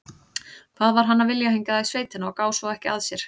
Hvað var hann að vilja hingað í sveitina og gá svo ekki að sér?